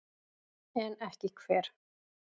En ekki hver?